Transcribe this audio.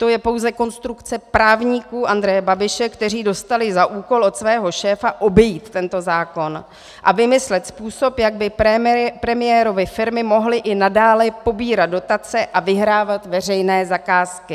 To je pouze konstrukce právníků Andreje Babiše, kteří dostali za úkol od svého šéfa obejít tento zákon a vymyslet způsob, jak by premiérovy firmy mohly i nadále pobírat dotace a vyhrávat veřejné zakázky.